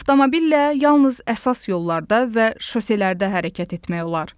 Avtomobillə yalnız əsas yollarda və şoselərdə hərəkət etmək olar.